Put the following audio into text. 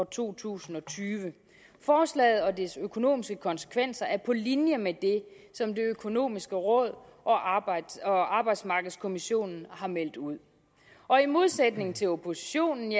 to tusind og tyve forslaget og dets økonomiske konsekvenser er på linje med det som det økonomiske råd og arbejdsmarkedskommissionen har meldt ud i modsætning til oppositionen